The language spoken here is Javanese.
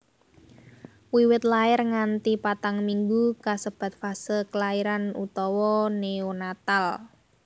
Wiwit lair nganti patang minggu kasebat fase klairan utawa neonatal